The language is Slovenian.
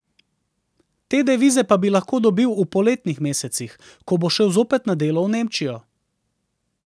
Te devize pa bi lahko dobil v poletnih mesecih, ko bo šel zopet na delo v Nemčijo.